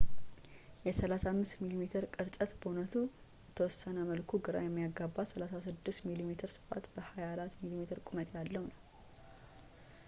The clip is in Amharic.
የ 35 ሚሜ ቅርፀት በእውነቱ በተወሰነ መልኩ ግራ የሚያጋባ 36 ሚሜ ስፋት በ 24 ሚሜ ቁመት ያለው ነበር